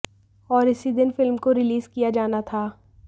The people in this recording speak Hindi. और इसी दिन फिल्म को रिलीज किया जाना था